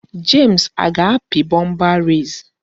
James aga-api bumper race?